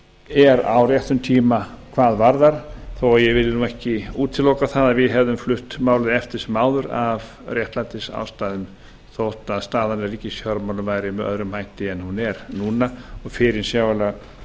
er á réttum tíma hvað það varðar þó að ég vilji ekki útiloka að við hefðum flutt málið eftir sem áður af réttlætisástæðum þótt staðan í ríkisfjármálum væri með öðrum hætti en hún er núna en fyrirsjáanlegt